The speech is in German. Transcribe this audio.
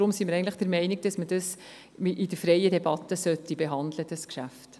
Deshalb sind wir der Meinung, dieses Geschäft solle in freier Debatte behandelt werden.